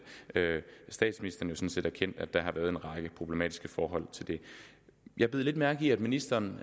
statsministeren sådan set erkendt at der har været en række problematiske forhold jeg bed lidt mærke i at ministeren